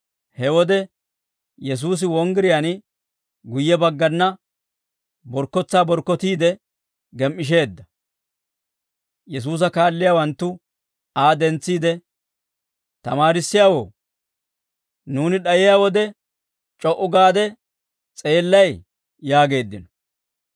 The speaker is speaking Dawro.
He wode Yesuusi wonggiriyaan guyye baggana borkkotsaa borkkotiide gem"isheedda. Yesuusa kaalliyaawanttu Aa dentsiide, «Tamaarissiyaawoo, nuuni d'ayiyaa wode c'o"u gaade s'eellay?» yaageeddino.